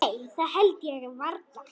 Nei það held ég varla.